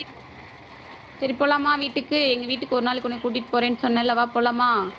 சரி, போலாமா வீட்டுக்கு எங்க வீட்டுக்கு ஒரு நாளைக்கு உன்னைய கூட்டிட்டு போறேன்னு சொன்னேன்ல வா போலாமா?